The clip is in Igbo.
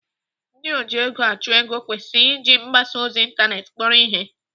Ndị ojiegoachụego kwesịrị iji mgbasa ozi ịntanetị kpọrọ ihe.